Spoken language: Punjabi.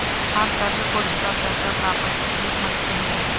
ਹਰ ਤਰਲ ਕੁਝ ਦਾ ਦਰਜਾ ਪ੍ਰਾਪਤ ਅਤੇ ਮਕਸਦ ਹੈ